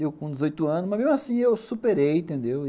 Eu com dezoitos anos, mas mesmo assim eu superei, entendeu?